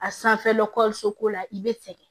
A sanfɛla dɔkɔtɔrɔso ko la i bɛ sɛgɛn